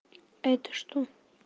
это что